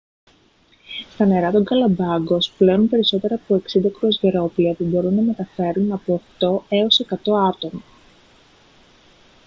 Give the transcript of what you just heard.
στα νερά των γκαλαπάγκος πλέουν περισσότερα από 60 κρουαζιερόπλοια που μπορούν να μεταφέρουν από 8-100 άτομα